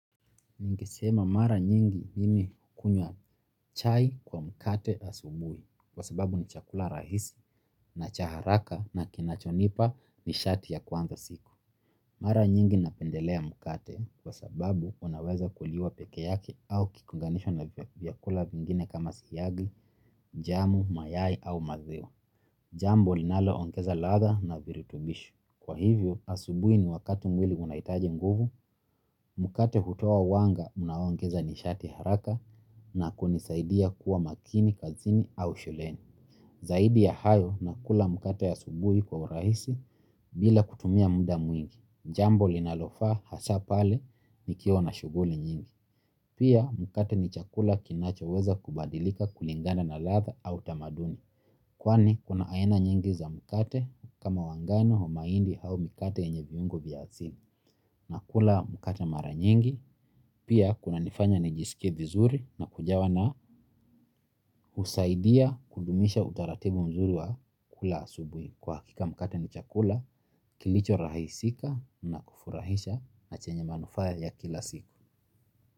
Ningesema mara nyingi mimi hukunywa chai kwa mkate asubui kwa sababu ni chakula rahisi na chaharaka na kinachonipa ni shati ya kuanza siku. Mara nyingi napendelea mkate kwa sababu unaweza kuliwa peke yake au kikiunganishwa na vyakula vingine kama siagi, jamu, mayai au maziwa. Jambo linalo ongeza ladha na virutubishi. Kwa hivyo, asubuhi ni wakati mwili unahitaji nguvu, mkate hutoa uwanga unaoongeza nishati haraka na kunisaidia kuwa makini, kazini au shuleni. Zaidi ya hayo na kula mkate asubui kwa urahisi bila kutumia muda mwingi. Jambo linalofaa hasa pale nikiwa na shuguli nyingi. Pia, mkate ni chakula kinacho weza kubadilika kulingana na ladha au tamaduni. Kwani kuna aena nyingi za mkate kama wangano wama indi au mikate yenye viungo vya asili nakula mkate mara nyingi. Pia kuna nifanya nijisikie vizuri na kujawa na husaidia kudumisha utaratibu mzuri wa kula asubui kwa hakika mkate ni chakula kilichorahisika na kufurahisha na chenye manufaa ya kila siku.